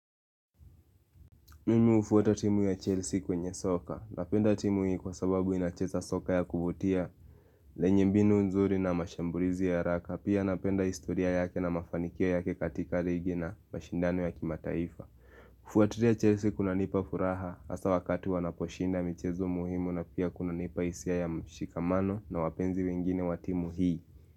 Mimi hufuata timu ya Chelsea kwenye soka, napenda timu hii kwa sababu inacheza soka ya kuvutia lenye mbinu nzuri na mashambulizi ya raka, pia napenda historia yake na mafanikio yake katika ligi na mashindano ya kimataifa kufuatilia Chelsea kunanipa furaha, hasa wakati wanaposhinda michezo muhimu na pia kunanipa hisia ya mshikamano na wapenzi wengine wa timu hii.